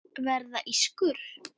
Verða ískur.